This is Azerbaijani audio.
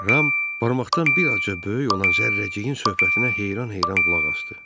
Ram barmaqdan bir azca böyük olan zərrəciyin söhbətinə heyran-heyran qulaq asdı.